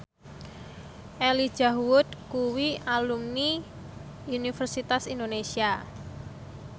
Elijah Wood kuwi alumni Universitas Indonesia